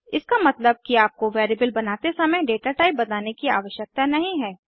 इसका मतलब कि आपको वेरिएबल बनाते समय डेटाटाइप बताने की आवशयकता नहीं है